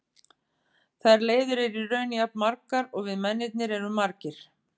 Þær leiðir eru í raun jafn margar og við mennirnir erum margir.